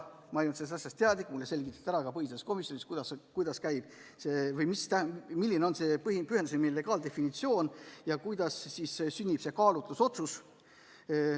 Ma ei olnud sellest asjast teadlik ja mulle selgitati põhiseaduskomisjonis, milline on pühendusnime legaaldefinitsioon ja kuidas sünnib kaalutlusotsus.